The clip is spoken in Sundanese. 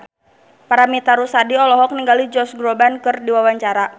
Paramitha Rusady olohok ningali Josh Groban keur diwawancara